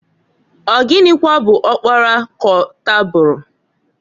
Ọ gịnwa bụ ọkpara k'ọtaburu?